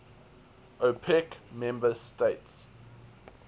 opec member states